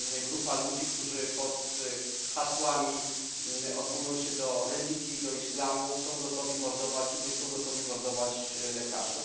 grupa ludzi, którzy pod hasłami odwołującymi się do religii, do islamu, są gotowi mordować innych, są gotowi mordować lekarzy.